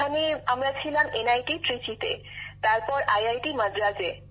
ওখানে আমরা ছিলাম এনআইটি ত্রিচিতে তারপর ম্যাড্রাস আইআইটিএ